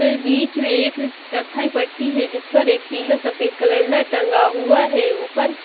बीच में एक कथई पट्टी है जिस पर एक पीला सफेद कैलेंडर टंगा हुआ है ऊपर--